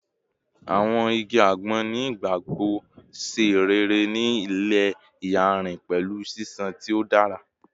Awọn igi agbon ni igbagbogbo ṣe rere ni ile iyanrin pẹlu ṣiṣan ti o dara